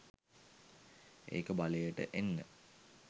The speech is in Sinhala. ඒක බලයට එන්න.